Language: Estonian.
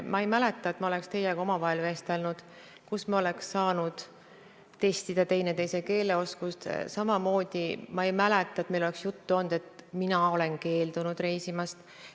Ma ei mäleta, et ma oleks teiega omavahel vestelnud ja me oleks saanud testida teineteise keeleoskust, samamoodi ei mäleta ma seda, et meil oleks juttu olnud sellest, et mina olen keeldunud reisimast.